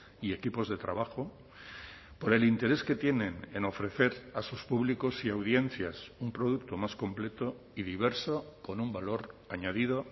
y equipos de trabajo por el interés que tienen en ofrecer a sus públicos y audiencias un producto más completo y diverso con un valor añadido